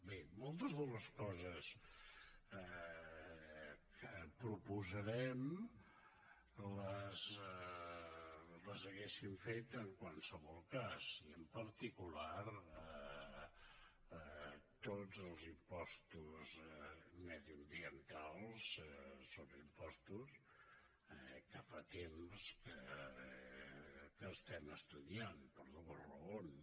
bé moltes de les coses que proposarem les hauríem fet en qualsevol cas i en particular tots els impostos mediambientals són impostos que fa temps que estem estudiant per dues raons